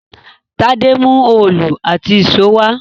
Tádé mú òòlù àti ìṣó wá